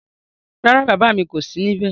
Rárá, bàbá mi kò sí níbé